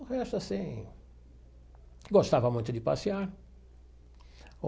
O resto, assim... Gostava muito de passear.